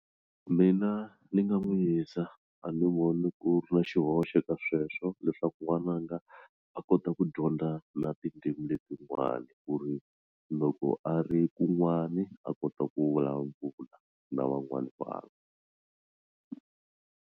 Mina ni nga n'wi yisa a ni voni ku ri na xihoxo ka sweswo leswaku n'wananga a kota ku dyondza na tindzimi letin'wana ku ri loko a ri kun'wani a kota ku vulavula na van'wana vanhu.